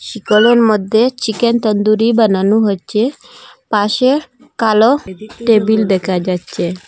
চিকলের মইধ্যে চিকেন তান্দুরি বানানু হচ্ছে পাশে কালো টেবিল দেখা যাচ্চে।